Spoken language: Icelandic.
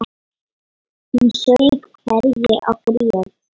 Hún saup hveljur og grét.